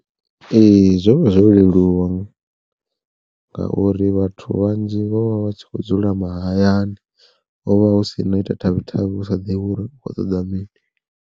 Ee zwo vha zwo leluwa ngauri vhathu vhanzhi vho vha vha tshi kho dzula mahayani hovha hu si na u ita thavhi thavhi u sa ḓivhi uri u kho ṱoḓa mini.